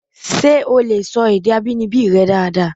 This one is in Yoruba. Ṣé o lè sọ èdè abínibí rẹ dáadáa?